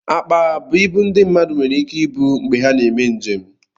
Akpa bụ ibu ndị mmadụ nwere ike ibu mgbe ha na-eme njem